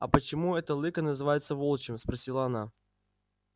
а почему это лыко называется волчьим спросила она